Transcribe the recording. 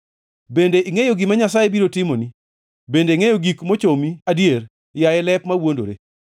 Bende ingʼeyo gima Nyasaye biro timoni, bende ingʼeyo gik mochomi adier, yaye lep mawuondore?